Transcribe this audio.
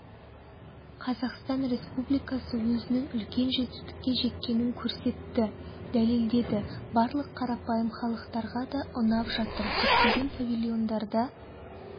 қазақстан республикасы өзінің үлкен жетістікке жеткенін көрсетті дәлелдеді барлық қарапайым халықтарға да ұнап жатыр көптеген павильондарда